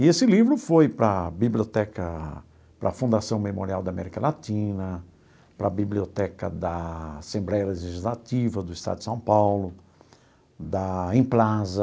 E esse livro foi para a Biblioteca, para a Fundação Memorial da América Latina, para a Biblioteca da Assembleia Legislativa do Estado de São Paulo, da Emplasa,